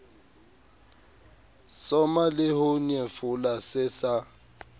soma leho nyefola se sa